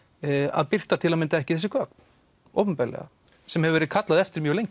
að birta til að mynda ekki þessi gögn opinberlega sem hefur verið kallað eftir mjög lengi